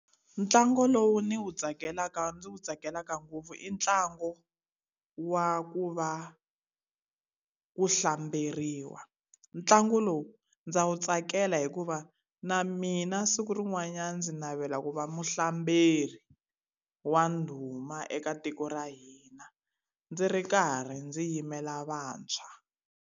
Ntlangu lowu ni wu tsakelaka ndzi wu tsakelaka ngopfu i ntlangu wa ku va ku hlamberiwa. Ntlangu lowu ndzi wu tsakela hikuva na mina siku rin'wanyana ndzi navela ku va muhlamberi wa ndhuma eka tiko ra hina, ndzi ri karhi ndzi yimela vantshwa.